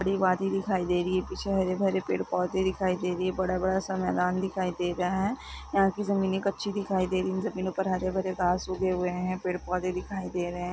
बड़ी वादी दिखाई दे रही है पीछे हरे - भरे पेड़ पौधे दिखाई दे रहे है बड़ा - बड़ा सा मैदान दिखाई दे रहा है यहाँ की जमीने कच्ची दिखाई दे रही है जमीनों पर हरे - भरे घास उगे हुए है पेड़ -पौधे दिखाई दे रहे है।